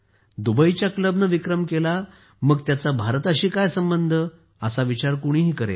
दुबईच्या क्लबने विक्रम केला मग त्याचा भारताशी काय संबंध असा विचार कोणीही करेल